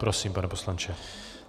Prosím, pane poslanče.